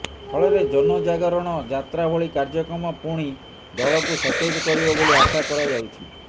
ଫଳରେ ଜନଯାଗରଣ ଯାତ୍ରାଭଳି କାର୍ଯ୍ୟକ୍ରମ ପୁଣି ଦଳକୁ ସତେଜ କରିବ ବୋଲି ଆଶା କରାଯାଉଛି